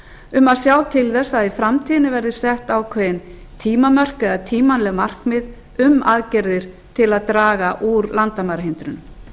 um að sjá til þess að í framtíðinni verði sett ákveðin tímamörk eða tímanleg markmið um aðgerðir til að draga úr landamærahindrunum